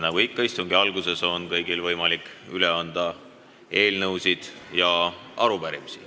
Nagu ikka istungi alguses, on kõigil võimalik üle anda eelnõusid ja arupärimisi.